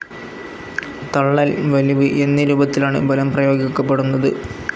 തള്ളൽ, വലിവ് എന്നീ രൂപത്തിലാണ്‌ ബലം പ്രയോഗിക്കപ്പെടുന്നത്.